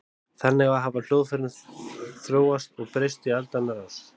Þannig hafa hljóðfærin þróast og breyst í aldanna rás.